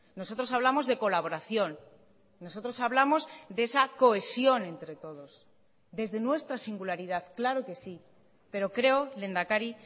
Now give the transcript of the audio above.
nosotros hablamos de colaboración nosotros hablamos de esa cohesión entre todos desde nuestra singularidad claro que sí pero creo lehendakari